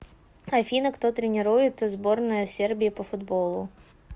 афина кто тренирует сборная сербии по футболу